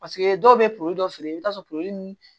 Paseke dɔw bɛ dɔ feere i bɛ taa sɔrɔ